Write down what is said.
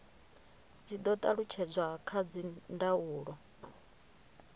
dzi do talutshedzwa kha dzindaulo